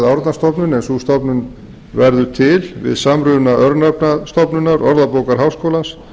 árnastofnun en sú stofnun verður til við samruna örnefnastofnunar orðabókar háskólans